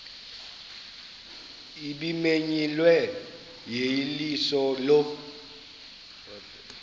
ebimenyiwe yeyeliso lo